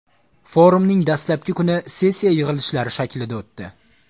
Forumning dastlabki kuni sessiya yig‘ilishlari shaklida o‘tdi.